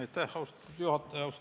Aitäh, austatud juhataja!